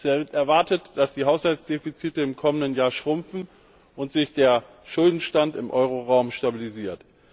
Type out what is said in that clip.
Es wird erwartet, dass die Haushaltsdefizite im kommenden Jahr schrumpfen und sich der Schuldenstand im Euro Währungsgebiet stabilisiert.